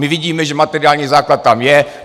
My vidíme, že materiální základ tam je.